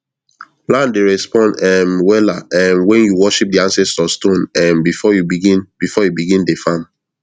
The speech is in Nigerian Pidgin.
land dey respond um wella um when you worship di ancestor stone um before you begin before you begin dey farm